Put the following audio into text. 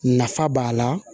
Nafa b'a la